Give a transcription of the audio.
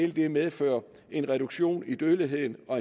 vil medføre en reduktion i dødeligheden og